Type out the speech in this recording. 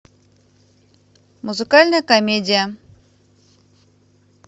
музыкальная комедия